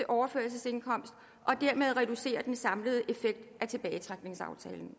overførselsindkomst og dermed reducere den samlede effekt af tilbagetrækningsaftalen